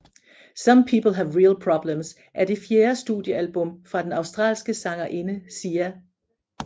Some People Have Real Problems er den fjerde studiealbum fra den australske sangerinde Sia